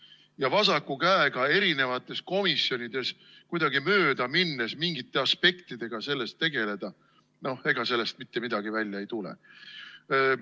Ja vasaku käega erinevates komisjonides kuidagi möödaminnes mingite aspektidega sellest tegeleda – no ega sellest mitte midagi välja ei tule.